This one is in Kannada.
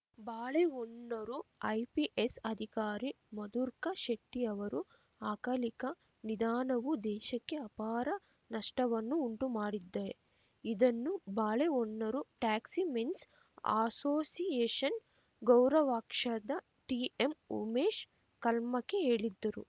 ಬಾಳೆಹೊನ್ನರು ಐಪಿಎಸ್‌ ಅಧಿಕಾರಿ ಮಧುರ್ಕ ಶೆಟ್ಟಿಅವರು ಅಕಲಿಕ ನಿದಾನವು ದೇಶಕ್ಕೆ ಅಪಾರ ನಷ್ಟವನ್ನು ಉಂಟುಮಾಡಿದ್ದೆ ಇದನ್ನು ಬಾಳೆಹೊನ್ನರು ಟ್ಯಾಕ್ಸಿ ಮೆನ್ಸ್‌ ಅಸೋಸಿಯೇಷನ್‌ ಗೌರವಾಕ್ಷದ ಟಿಎಂ ಉಮೇಶ್‌ ಕಲ್ಮಕ್ಕಿ ಹೇಳಿದ್ದರು